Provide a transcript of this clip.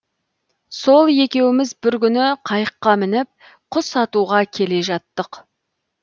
сол екеуміз бір күні қайыққа мініп құс атуға келе жаттық